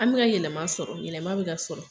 An be ka yɛlɛma sɔrɔ yɛlɛma be ka sɔrɔ